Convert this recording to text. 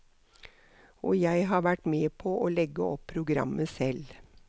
Og jeg har vært med på å legge opp programmet selv.